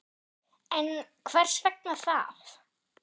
En hvers vegna það?